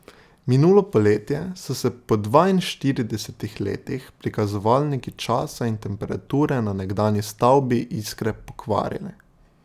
Minulo poletje, so se po dvainštiridesetih letih prikazovalniki časa in temperature na nekdanji stavbi Iskre pokvarili.